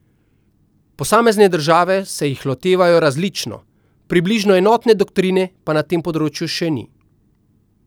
Posamezne države se jih lotevajo različno, približno enotne doktrine pa na tem področju še ni.